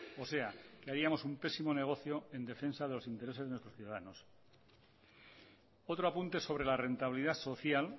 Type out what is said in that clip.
o sea que haríamos un pésimo negocio en defensa de los intereses de nuestros ciudadanos otro apunte sobre la rentabilidad social